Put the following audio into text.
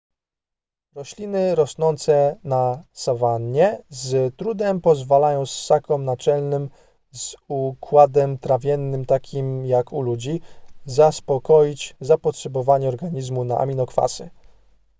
rośliny rosnące na sawannie z trudem pozwalają ssakom naczelnym z układem trawiennym takim jak u ludzi zaspokoić zapotrzebowanie organizmu na aminokwasy